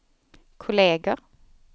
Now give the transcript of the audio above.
kolleger